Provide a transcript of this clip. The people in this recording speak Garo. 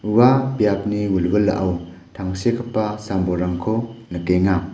ua biapni wilwilao tangsekgipa sam-bolrangko nikenga.